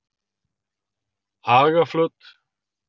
Hagaflöt